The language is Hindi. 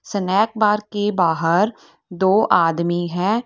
स्नैक बार के बाहर दो आदमी हैं।